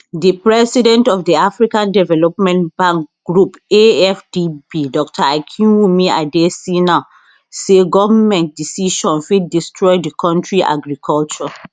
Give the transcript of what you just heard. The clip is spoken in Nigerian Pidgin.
di president of di african development bank group afdb dr akinwumi adesina say goment decision fit destroy di kontri agriculture